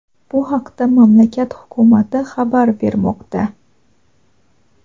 Bu haqda mamlakat hukumati xabar bermoqda.